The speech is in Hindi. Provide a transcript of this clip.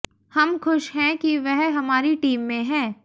हम खुश हैं कि वह हमारी टीम में हैं